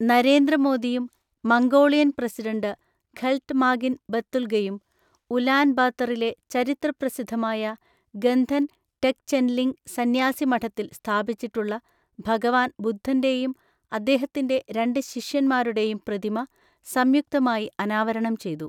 നരേന്ദ്ര മോദിയും, Mongolian president Khaltmaagiin ബത്തുല്ഗയും, Ulaan ബാത്തറിലെ ചരിത്ര പ്രസിദ്ധമായ, ഗന്ധന് ടെഗ്ചെന്ലിംഗ് സന്യാസി മഠത്തിൽ സ്ഥാപിച്ചിട്ടുള്ള ഭഗവാന് ബുദ്ധന്റെയും, അദ്ദേഹത്തിന്റെ രണ്ട് ശിഷ്യന്മാരുടെയും പ്രതിമ സംയുക്തമായിഅനാവരണംചെയ്തു.